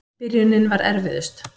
Byrjunin var erfiðust.